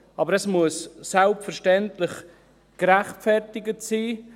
Aber es muss selbstverständlich gerechtfertigt sein.